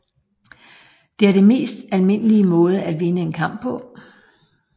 Det er det mest almindelige måde at vinde en kamp på